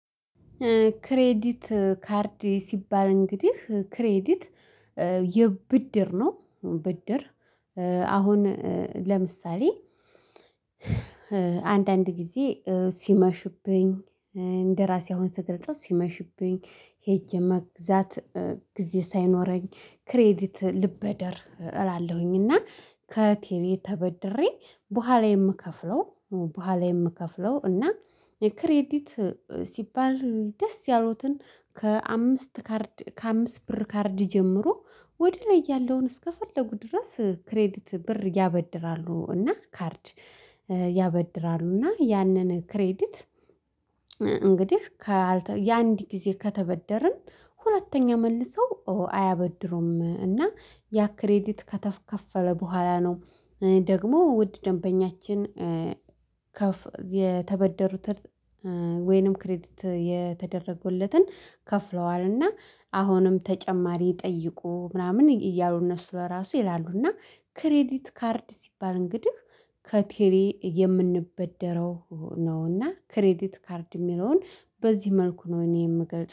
ክሬዲት ካርድ ሲባል እንግዲህ ክሬዲት የብድር ነው። ብድር። አሁን ለምሳሌ አንዳንድ ጊዜ ሲመሽብኝ እንደራሴ አሁን ስገልጸው ሲመሽብኝ ሄጄ መግዛት ጊዜ ሳይኖረኝ ክሬዲት ልበደር እላለሁኝ እና ከቴሌ ተበደሬ በኋላ የምከፍለው በኋላ የምከፍለው እና የክሬዲት ሲባል ደስ ያሎትን ከአምስት ካርድ ከአምስት ብር ካርድ ጀምሮ ወደ ላይ ያለውን እስከፈለጉ ድረስ ክሬዲት ብር ያበድራሉ። እና ካርድ ያበድራሉ እና ያንን ክሬዲት። እንግዲህ ያንድ ጊዜ ከተበደርን ሁለተኛ መልሰው አያበድሩም እና ያ ክሬዲት ከተከፈለ በኋላ ነው። ደግሞ ውድ ደንበኛችን። የተበደሩት ወይንም ክሬዲት የተደረገሎትን ከፍለዋልና አሁንም ተጨማሪ ጠይቁ ምናምን እያሉ እነሱ ራሱ ይላሉና። እና ክሬዲት ካርድ ሲባል እንግዲህ ከቴሌ የምንበደረው ነው። እና ክሬዲት ካርድ የሚለውን በዚህ መልኩ ነው እኔ የምገልጸው